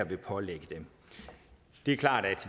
vil pålægge dem det er klart at